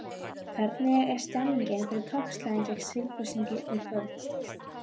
Hvernig er stemningin fyrir toppslaginn gegn Selfyssingum í kvöld?